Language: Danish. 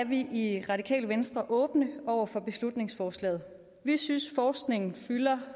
vi i radikale venstre åbne over for beslutningsforslaget vi synes forskningen fylder